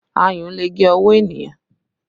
Ayùn lè gé ọwọ́ ènìyàn